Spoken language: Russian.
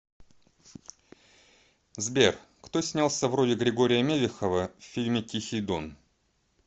сбер кто снялся в роли григория мелехова в фильме тихий дон